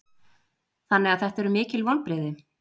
Þannig að þetta eru mikil vonbrigði?